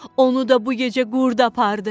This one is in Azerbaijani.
Onu da bu gecə qurd apardı."